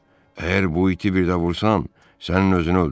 Əgər bu iti bir də vursan, sənin özünü öldürərəm.